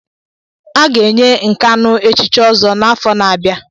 A ga-enye Nkanu echichi Ozo n'afọ na-abịa.